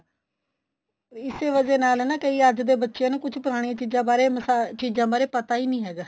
ਇਸੇ ਵਜਾ ਨਾਲ ਨਾ ਕਈ ਅੱਜ ਦੇ ਬੱਚਿਆਂ ਨੂੰ ਕੁੱਝ ਪੁਰਾਣੀਆਂ ਚੀਜ਼ਾਂ ਬਾਰੇ ਮਸਾ ਚੀਜ਼ਾਂ ਬਾਰੇ ਪਤਾ ਈ ਨਹੀਂ ਹੈਗਾ